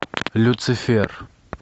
люцифер